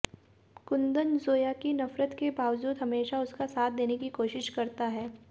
कुंदन जोया की नफरत के बावजूद हमेशा उसका साथ देने की कोशिश करता है